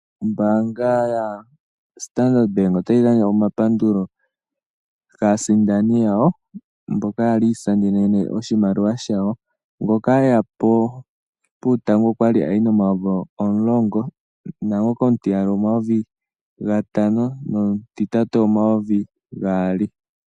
Ombaanga ya Standard bank otayi gandja omapandulo kaasindani yayo mboka yali ya isindanene oshimaliwa shawo, ngoka eya puutango okwali ayi N$10,000.00 nomutiyali okwali ayi N$5000.00 nomutitatu N$2000.00.